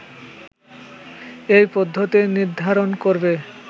এই পদ্ধতি নির্ধারণ করবে